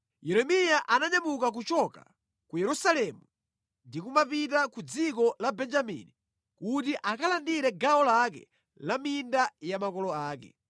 Yeremiya ananyamuka kuchoka ku Yerusalemu ndi kumapita ku dziko la Benjamini kuti akalandire gawo lake la minda ya makolo ake.